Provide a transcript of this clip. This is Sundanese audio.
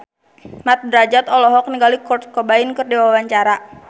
Mat Drajat olohok ningali Kurt Cobain keur diwawancara